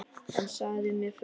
Hann sagði mér frá því.